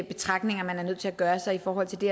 betragtninger man er nødt til at gøre sig i forhold til det